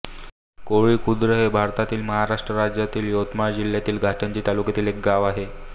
कोळी खुर्द हे भारतातील महाराष्ट्र राज्यातील यवतमाळ जिल्ह्यातील घाटंजी तालुक्यातील एक गाव आहे